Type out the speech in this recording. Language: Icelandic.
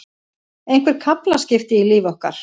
Einhver kaflaskil í lífi okkar.